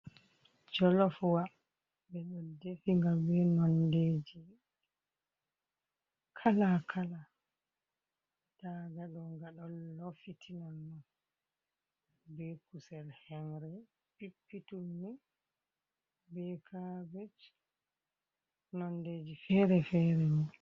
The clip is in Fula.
Jolof wa ɓe ɗo defiga be nondeji kalakala, nda ga ɗo ga ɗo lofiti nonon, be kusel henre pippituln ni be kabej nondeji fere fere.